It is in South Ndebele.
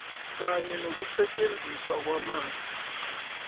kanye nokusetjenziswa kwamanzi